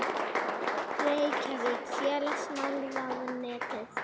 Reykjavík: Félagsmálaráðuneytið.